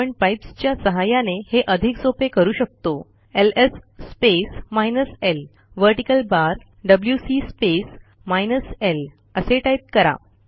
आपणpipes च्या सहाय्याने हे अधिक सोपे करू शकतोls space minus l vertical bar डब्ल्यूसी स्पेस माइनस ल असे टाईप करा